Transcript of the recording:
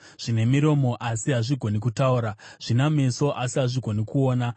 Zvine miromo, asi hazvigoni kutaura, zvina meso, asi hazvigoni kuona;